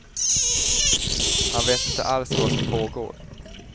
Han vet inte alls vad som pågår.